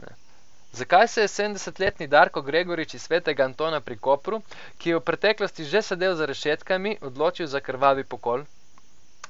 Zakaj se je sedemdesetletni Darko Gregorič iz Svetega Antona pri Kopru, ki je v preteklosti že sedel za rešetkami, odločil za krvavi pokol?